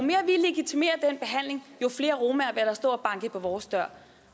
flere romaer vil der stå og banke på vores dør